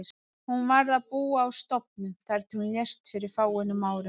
Hún varð að búa á stofnun þar til hún lést fyrir fáeinum árum.